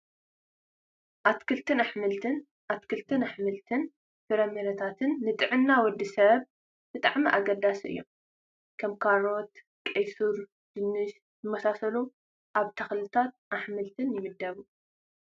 ኣትክልትን ኣሕምልትን፡- ኣትክልቲ፣ ኣሕምልቲን ፍራምረታትን ንጥዕና ወዲ ሰብ ብጣዕሚ ኣገደስቲ እዮም፡፡ ከም ካሮት፣ ቀይ ስርን ድንሽን ዝኣመሰሉ ኣብ ኣትክልትን ኣሕምልትን ይምደቡ፡፡